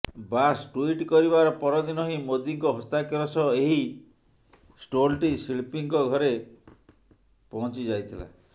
ବାସ୍ tweet କରିବାର ପରଦିନ ହିଁ ମୋଦିଙ୍କ ହସ୍ତାକ୍ଷର ସହ ଏହି ଷ୍ଟୋଲଟି ଶିଳ୍ପୀଙ୍କ ଘରେ ପହଂଚିଯାଇଥିଲା